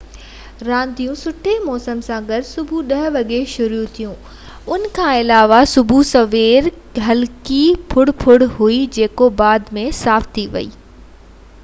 رانديون سٺي موسم سان گڏ صبح 10:00 وڳي شروع ٿيون ۽ ان کان علاوه صبح سوير هلڪي ڦڙ ڦڙ هئي جيڪو بعد ۾ صاف ٿي ويئي اهو 7 رگبي جي لاءِ بهترين ڏينهن هويو